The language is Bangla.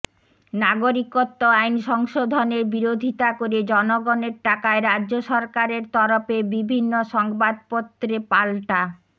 নাগরিকত্ব আইন সংশোধনের বিরোধিতা করে জনগণের টাকায় রাজ্য সরকারের তরফে বিভিন্ন সংবাদপত্রে পাল্টা